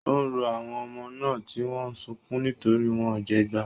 Ó ń rọ àwọn ọmọ náà, tí wọ́n ń sunkún nítorí wọ́n jẹgba.